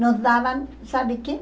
Nos davam, sabe o que?